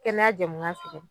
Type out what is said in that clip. Kɛnɛya jamun kan fini.